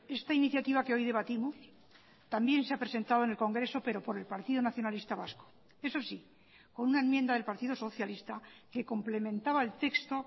esta iniciativa que hoy debatimos también se ha presentado en el congreso pero por el partido nacionalista vasco eso sí con una enmienda del partido socialista que complementaba el texto